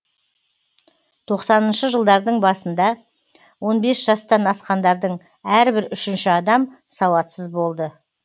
тоқсаныншы жылдардың басында он бес жастан асқандардың әрбір үшінші адам сауатсыз болды